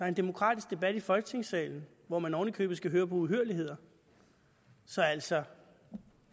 en demokratisk debat i folketingssalen hvor man oven i købet skal høre på uhyrligheder så altså